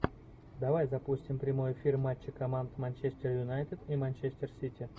давай запустим прямой эфир матча команд манчестер юнайтед и манчестер сити